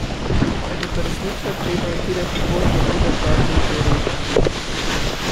Je pa resnično treba utirati pot na oder dobrim koreografom.